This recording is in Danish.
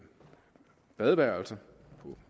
badeværelser